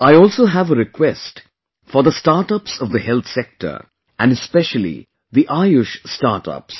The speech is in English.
I also have a request for the StartUps of the Health Sector and especially the Ayush StartUps